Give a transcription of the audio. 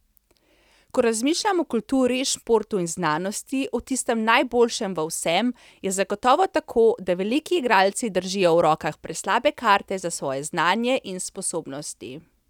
Ko razmišljam o kulturi, športu in znanosti, o tistem najboljšem v vsem, je zagotovo tako, da veliki igralci držijo v rokah preslabe karte za svoje znanje in sposobnosti.